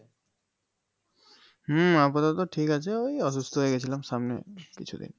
হম আপাতত ঠিক আছে ওই অসুস্থ হয়ে গিয়েছিল সামনে কিছুদিন